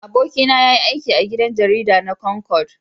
Abokina ya yi aiki a gidan jarida na Concord.